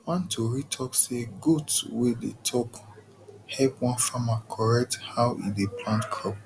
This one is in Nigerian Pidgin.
one tori talk say goat wey dey talk help one farmer correct how e dey plant crops